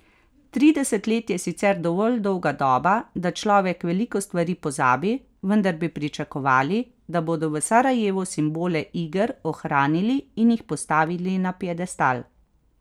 Trideset let je sicer dovolj dolga doba, da človek veliko stvari pozabi, vendar bi pričakovali, da bodo v Sarajevu simbole iger ohranili in jih postavili na piedestal.